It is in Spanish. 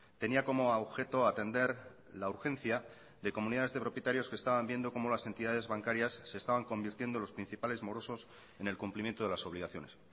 tenía como objeto atender la urgencia de comunidades de propietarios que estaban viendo cómo las entidades bancarias se estaban convirtiendo en los principales morosos en el cumplimiento de las obligaciones